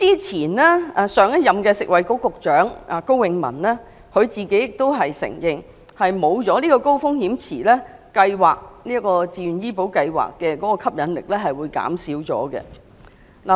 前任食物及衞生局局長高永文亦承認，如不設立高風險池，這項自願醫保計劃的吸引力會減少。